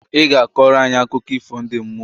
I ga akọlụ anyị akụkọ ifo ndi mmuoǃ